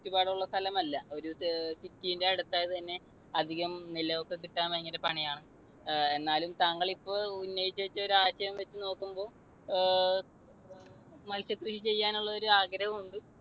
ചുറ്റുപാടുള്ള ഒരു സ്ഥലമല്ല. ഒരു city ന്റെ അടുത്തായതുതന്നെ അധികം നിലമൊക്കെ കിട്ടാൻ ഭയങ്കര പണിയാണ്. എന്നാലും താങ്കൾ ഇപ്പോൾ ഉന്നയിച്ചു വച്ചൊരു ആശയം വെച്ച് നോക്കുമ്പോൾ ഏർ മത്സ്യകൃഷി ചെയ്യാനുള്ളൊരു ആഗ്രഹം ഉണ്ട്.